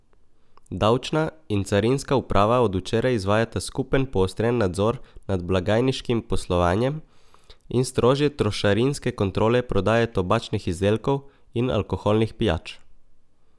Davčna in carinska uprava od včeraj izvajata skupen poostren nadzor nad blagajniškim poslovanjem in strožje trošarinske kontrole prodaje tobačnih izdelkov in alkoholnih pijač.